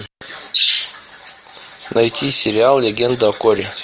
найти сериал легенда о корре